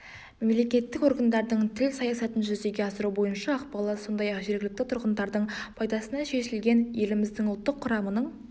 мемлекеттік органдардың тіл саясатын жүзеге асыру бойынша ықпалы сондай-ақ жергілікті тұрғындардың пайдасына шешілген еліміздің ұлттық құрамының